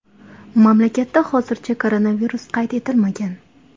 Mamlakatda hozircha koronavirus qayd etilmagan.